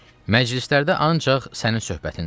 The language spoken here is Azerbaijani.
Məclislərdə ancaq sənin söhbətindir.